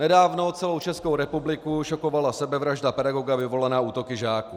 Nedávno celou Českou republiku šokovala sebevražda pedagoga vyvolaná útoky žáků.